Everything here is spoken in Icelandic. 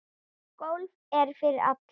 Golf er fyrir alla